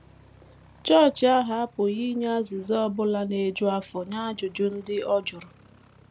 Chọọchị ahụ apụghị inye azịza ọ bụla na - eju afọ nye ajụjụ ndị ọ jụrụ.